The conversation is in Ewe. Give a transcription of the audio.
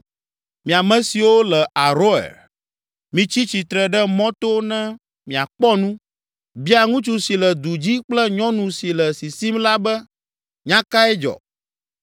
Mi ame siwo le Aroer, mitsi tsitre ɖe mɔto ne miakpɔ nu. Bia ŋutsu si le du dzi kple nyɔnu si le sisim la be, ‘Nya kae dzɔ?’